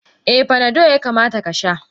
Eh Panado yakamata Kasha.